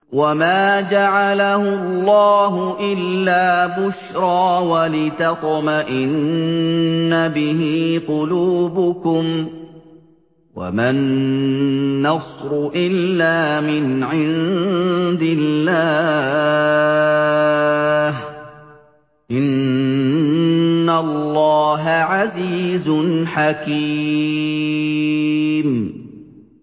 وَمَا جَعَلَهُ اللَّهُ إِلَّا بُشْرَىٰ وَلِتَطْمَئِنَّ بِهِ قُلُوبُكُمْ ۚ وَمَا النَّصْرُ إِلَّا مِنْ عِندِ اللَّهِ ۚ إِنَّ اللَّهَ عَزِيزٌ حَكِيمٌ